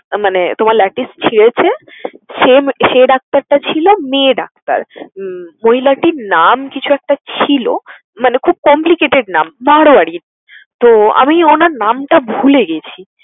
মানে তোমার latis ছিঁড়েছে same সে ডাক্তারটা ছিল মেয়ে ডাক্তার। উম মহিলাটির নাম কিছু একটা ছিল মানে খুব complicated নাম মারোয়ারী। তো আমি উনার নামটা ভুলে গেছি।